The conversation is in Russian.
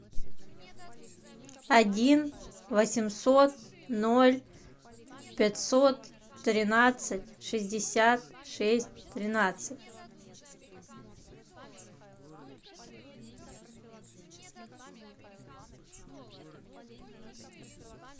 один восемьсот ноль пятьсот тринадцать шестьдесят шесть тринадцать